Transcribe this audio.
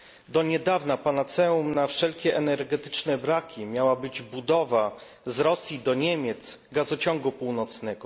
Do niedawna panaceum na wszelkie energetyczne braki miała być budowa z Rosji do Niemiec gazociągu północnego.